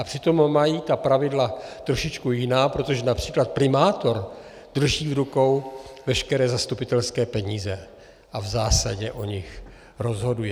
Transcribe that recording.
A přitom mají ta pravidla trošičku jiná, protože například primátor drží v rukou veškeré zastupitelské peníze a v zásadě o nich rozhoduje.